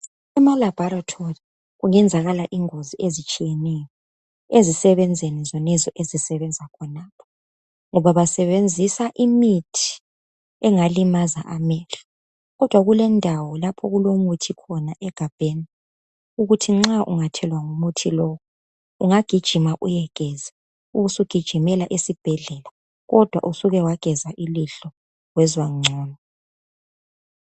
Emalabhorethori kungenzakala ingozi ezitshiyeneyo ezisebenzini zonezo ezisebenza khonokho ngoba basebenzisa imithi engalimaza amehlo, kodwa kulendawo lapho okulemithi khona egabheni ukuthi nxa ungathelwa ngumuthi lo ungagijima uyegeza ubusugijimela esibhedlela kodwa usuke wageza ilihlo wezwa ngcono.